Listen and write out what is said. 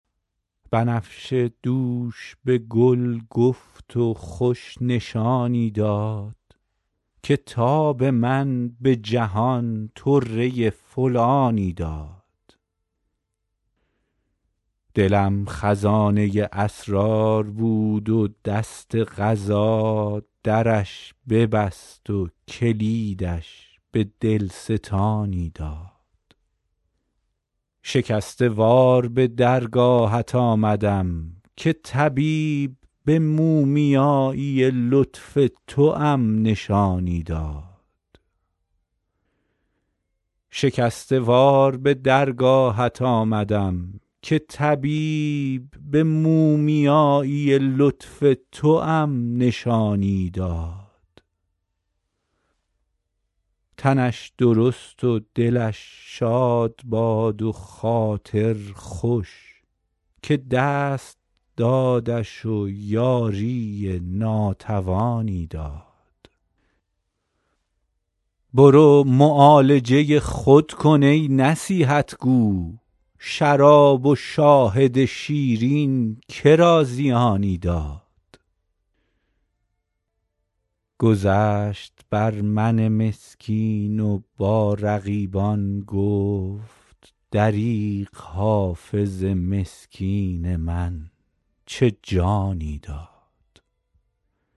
بنفشه دوش به گل گفت و خوش نشانی داد که تاب من به جهان طره فلانی داد دلم خزانه اسرار بود و دست قضا درش ببست و کلیدش به دل ستانی داد شکسته وار به درگاهت آمدم که طبیب به مومیایی لطف توام نشانی داد تنش درست و دلش شاد باد و خاطر خوش که دست دادش و یاری ناتوانی داد برو معالجه خود کن ای نصیحت گو شراب و شاهد شیرین که را زیانی داد گذشت بر من مسکین و با رقیبان گفت دریغ حافظ مسکین من چه جانی داد